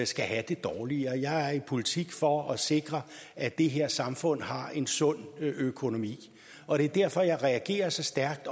skal have det dårligere jeg er i politik for at sikre at det her samfund har en sund økonomi og det er derfor jeg reagerer så stærkt